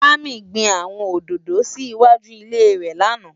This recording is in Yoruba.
Dami gbin áwòn ódódó si iwájú ilé rè làná